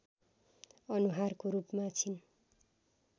अनुहारको रूपमा छिन्